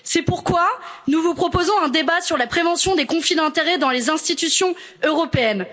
C'est pourquoi nous vous proposons un débat sur la prévention des conflits d'intérêt dans les institutions européennes.